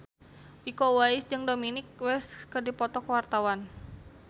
Iko Uwais jeung Dominic West keur dipoto ku wartawan